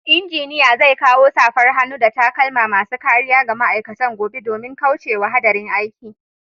Engineer zai kawo safar hannu da takalma masu kariya ga ma'aikatan gobe domin kauce wa hadarin aiki.